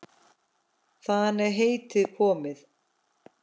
Þaðan er heitið komið.